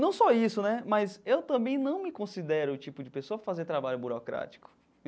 Não só isso né, mas eu também não me considero o tipo de pessoa para fazer trabalho burocrático.